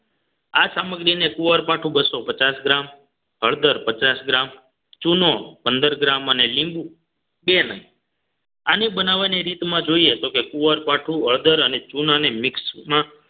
આ સામગ્રીને કુંવરપાઠુ બસોપચાસ ગ્રામ હળદર પચાસ ગ્રામ ચૂનો પંદર ગ્રામ અને લીંબુ બે નંગ બનાવવાની રીતમાં જોઈએ તો કે કુવારપાઠું હળદર અને ચુનાને mix માં